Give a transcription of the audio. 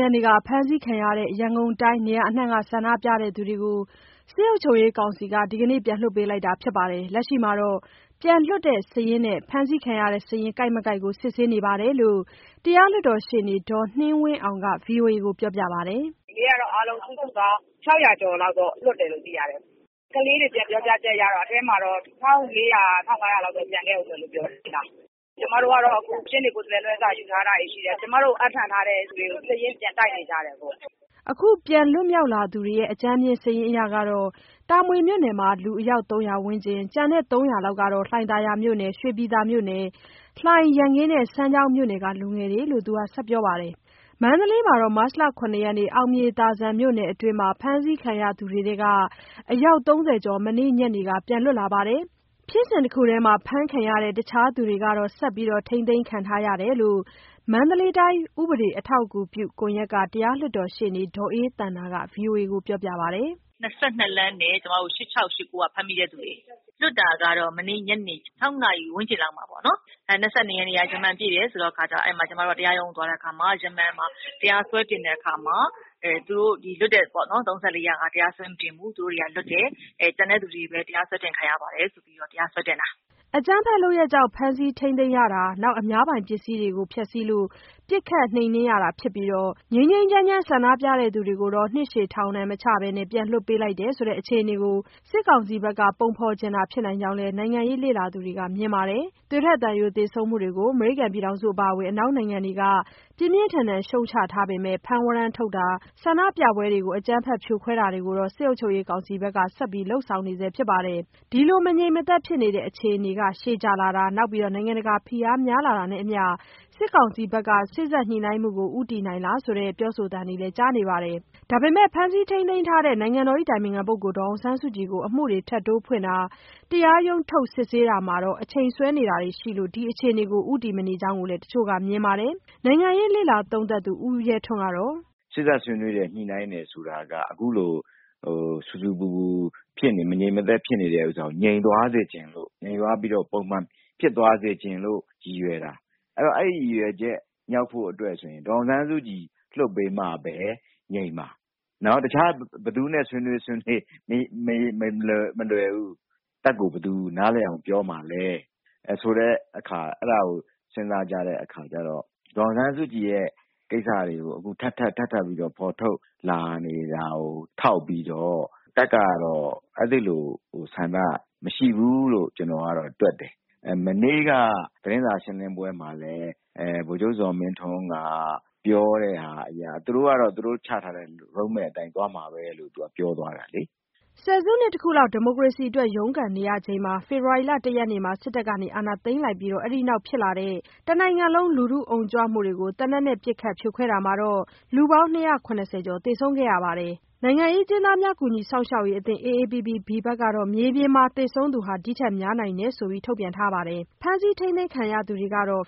ရက်က ဖမ်းဆီးခံရတဲ့ ရန်ကုန်တိုင်း နေရာအနှံ့က ဆန္ဒပြသူတွေကို စစ်အုပ်ချုပ်ရေးကောင်စီက ဒီကနေ့ ပြန်လွှတ်ပေးလိုက်တာဖြစ်ပြီး လက်ရှိတော့ ပြန်လွတ်လာတဲ့ စာရင်းနဲ့ ဖမ်းဆီးခံရတဲ့ စာရင်းကိုက်မကိုက်ကို စစ်ဆေးမှုတွေ ပြန်လုပ်နေကြောင်း တရားလွှတ်တော်ရှေ့နေ ဒေါ်နှင်းဝင်းအောင်က ဗွီအိုအေကို ပြောပါတယ်။ “ဒီနေ့ကတော့ အားလုံးစုစုပေါင်း ၆၀၀ ကျော်လောက် လွတ်တယ်လို့ သိရတယ်။ ကလေးတွေ ပြန်ပြောချက်အရ အထဲမှာတော့ ၁,၄၀၀၊ ၁,၅၀၀ လောက် ကျန်ခဲ့တယ်လို့ ပြောတယ်။ ကျမတို့ကတော့ အခု ရှေ့နေ ကိုယ်စားလှယ် လွှဲစာတွေ ယူထားတာရှိတယ်။ ကျမတို့ကို အပ်နှံထားသူတွေကို စာရင်းပြန်တိုက်နေကြတယ်ပေါ့။” အကြမ်းဖျင်းစာရင်း အရတော့ တာမွေမြို့နယ်က လူယောက် ၃၀၀ ဝန်းကျင်၊ ကျန်တဲ့ ၃၀၀ လောက်ကတော့ လှိုင်သာယာ၊ ရွှေပြည်သာ၊ လှိုင်၊ ရန်ကင်း၊ စမ်းချောင်းက လူငယ်တွေလို့ သူကပြောပါတယ်။ မန္တလေးမှာတော့ မတ်လ ၇ ရက် အောင်မြေသာဇံမြို့နယ်အတွင်း ဖမ်းဆီးခံရတဲ့သူတွေထဲက အယောက် ၃၀ ကျော် မနေ့ညနေက ပြန်လွတ်လာပြီး ဖြစ်စဉ်တခုထဲ ဖမ်းခံရတဲ့ အခြားသူကတော့ ဆက်ထိန်းသိမ်းခံထားရကြောင်း မန္တလေး ဥပဒေ အထောက်အကူပြုကွန်ရက်က တရားလွှတ်တော်ရှေ့နေ ဒေါ်အေးသန္တာက ဗွီအိုအေကို ပြောပါတယ်။ “၂၂ လမ်းနဲ့ ၈၆ x ၈၉ က ဖမ်းမိတဲ့သူတွေ၊ လွှတ်တာကတော့ မနေ့ညနေ ၆ နာရီ ဝန်းကျင်လောက်မှာပေါ့နော်၊ ၂၂ ရက်က ရမ္မာန်ပြည့်တယ်ဆိုတော့ ကျမတို့ တရားရုံး သွားတဲ့အခါမှာ ရမ္မာန်မှာ တရားစွဲတင်တဲ့အခါမှာ ၃၄ ယောက်ဟာ တရားစွဲမတင်ဘူး လွတ်တယ်။ ကျန်တဲ့သူတွေပဲ တရားစွဲတင် ခံရပါတယ်ဆိုပြီး တရားစွဲတင်တာ။” အကြမ်းဖက်လုပ်ရပ်တွေကြောင့် ဖမ်းဆီးထိန်းသိမ်းရတာ၊ အများပိုင်ပစ္စည်းတွေကို ဖျက်စီးလို့ ပစ်ခတ်နှိမ်နင်းရတာဖြစ်ပြီး ငြိမ်းငြိမ်းချမ်းချမ်း ဆန္ဒပြသူတွေကိုတော့ နှစ်ရှည်ထောင်ဒဏ်မချဘဲ အခုလို ပြန်လွှတ်ပေးတယ်ဆိုတဲ့ အခြေအနေကို စစ်ကောင်စီဘက်က ပုံဖော်ချင်တာဖြစ်နိုင်ကြောင်း နိုင်ငံရေး လေ့လာသူတချို့က မြင်ပါတယ်။ သွေးထွက်သံယို သေဆုံးမှုတွေကို အမေရိကန် အပါအဝင် အနောက်နိုင်ငံတွေက ပြင်းပြင်းထန်ထန် ရှုတ်ချထားပေမဲ့ ဖမ်းဝရမ်းထုတ်တာတွေ၊ ဆန္ဒပြပွဲတွေကို ဖြိုခွဲတာတွေ ကိုတော့ စစ်အုပ်ချုပ်ရေး ကောင်စီဘက်က ဆက်လုပ်နေဆဲ ဖြစ်ပါတယ်။ ဒီလိုမငြိမ်မသက်ဖြစ်နေတဲ့ အခြေအနေ ရှည်ကြာလာတာ၊ နိုင်ငံတကာဖိအားတွေ များလာတာနဲ့အမျှ စစ်ကောင်စီဘက်က စေ့စပ်ညှိနှိုင်းမှုကို ဦးတည်နေပြီလား ဆိုတဲ့ပြောဆိုသံတွေလည်း ကြားနေရပါတယ်။ ဒါပေမဲ့ ဖမ်းဆီးထိမ်းသိမ်းထားတဲ့ နိုင်ငံတော်အတိုင်ပင်ခံ ဒေါ်အောင်ဆန်းစုကြည်ကို အမှုတွေထပ်တိုးဖွင့်တာ၊ တရားရုံးထုတ် စစ်ဆေးတာမှာ အချိန်ဆွဲနေတာတွေက ဒီအခြေအနေကို ဦးတည်မနေကြောင်းလည်း တချို့က မြင်ပါတယ်။ နိုင်ငံရေး လေ့လာသုံးသပ်သူ ဦးရဲထွန်းကတော့… “စေ့စပ်ညှိနှိုင်းတယ်၊ ဆွေးနွေးတယ်ဆိုတာက အခုလို ဆူဆူပူပူ မငြိမ်မသက် ဖြစ်နေတာကို ငြိမ်သွားစေချင်လို့၊ ငြိမ်သွားပြီး ပုံမှန်ဖြစ်သွား စေချင်လို့ ရည်ရွယ်တာ။ အဲဒီရည်ရွယ်ချက် မြောက်ဖို့ဆိုရင် ဒေါ်အောင်ဆန်းစုကြည်ကို လွှတ်ပေးမှပဲ ငြိမ်မှာ။ တခြား ဘယ်သူနဲ့ ဆွေးနွေးဆွေးနွေး မလွယ်ဘူး။ တပ်ကိုဘယ်သူ နားလည်အောင် ပြောမှာလဲဆိုတာကို စဉ်းစားကြတဲ့အခါမှာ ဒေါ်အောင်ဆန်းစုကြည်ရဲ့ ကိစ္စကို ထပ်ထပ်ပြီး ဖော်ထုတ်လာနေတာကို ထောက်ပြီးတော့ တပ်ကတော့ အဲဒီလိုဆန္ဒ မရှိဘူးလို့ ကျနော်ကတော့ တွက်တယ်။ မနေ့က သတင်းစာ ရှင်းလင်းပွဲမှာလည်း ဗိုလ်ချုပ် ဇော်မင်းထွန်းက ပြောတဲ့ဟာအရ သူတို့ကတော့ သူတို့ချထားတဲ့ မူ road map အတိုင်းပဲ သွားမှာပဲလို့ ပြောသွားတာလေ။” ဆယ်စုနှစ်တခုလောက် ဒီမိုကရေစီအတွက် ရုန်းကန်နေရချိန် ဖေဖော်ဝါရီ ၁ ရက်မှာ စစ်တပ်က အာဏာသိမ်းလိုက်ပြီး အဲဒီနောက် ဖြစ်လာတဲ့ တနိုင်ငံလုံး လူထုအုံကြွမှုတွေကို သေနတ်နဲ့ပစ်ခတ် ဖြိုခွဲတာမှာ လူပေါင်း ၂၇၀ ကျော် သေဆုံးခဲ့ပြီး နိုင်ငံရေးအကျဉ်းသားများ ကူညီစောင့်ရှောက်ရေးအသင်း AAPPB ဘက်ကတော့ မြေပြင်မှာတော့ သေဆုံးသူ ဒီထက်များနိုင်တယ်လို့ ရေးသားထားပါတယ်။ ဖမ်းဆီး ထိန်းသိမ်းခံရတဲ့သူကတော့